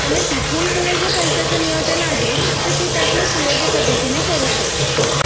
मग तिथून पुढे जे पैशाचे नियोजन आहे ते तू त्यामधून सुयोग्य पद्धतीने करू शकतोस